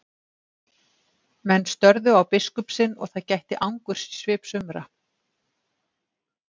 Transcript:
Menn störðu á biskup sinn og það gætti angurs í svip sumra.